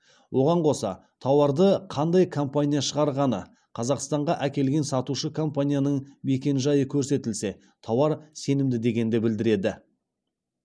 оған қоса тауарды қандай компания шығарғаны қазақстанға әкелген сатушы компанияның мекенжайы көрсетілсе тауар сенімді дегенді білдіреді